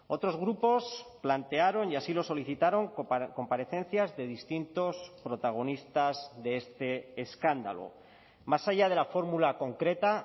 otros grupos plantearon y así lo solicitaron comparecencias de distintos protagonistas de este escándalo más allá de la fórmula concreta